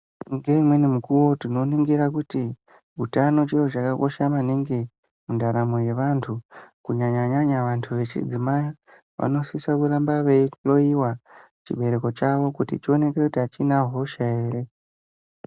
Ngeimweni mukuwo tinoningira kuti utano chiro chakakosha maningi mundaramo yevantu kunyanya nyanya vantu vechidzimai vanosisa kuramba veihloiwa chibereko chavo kuti chionekwe kuti achona hosha ere.